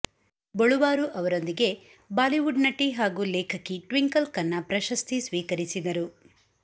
ಬೊಳುವಾರು ಅವರೊಂದಿಗೆ ಬಾಲಿವುಡ್ ನಟಿ ಹಾಗೂ ಲೇಖಕಿ ಟ್ವಿಂಕಲ್ ಖನ್ನ ಪ್ರಶಸ್ತಿ ಸ್ವೀಕರಿಸಿದರು